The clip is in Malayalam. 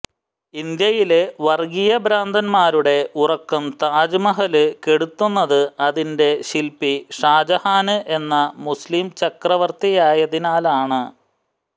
ഇന്ത്യയിലെ വര്ഗീയ ഭ്രാന്തന്മാരുടെ ഉറക്കം താജ്മഹല് കെടുത്തുന്നത് അതിന്റെ ശില്പി ഷാജഹാന് എന്ന മുസ്ലിം ചക്രവര്ത്തിയായതിനാലാണ്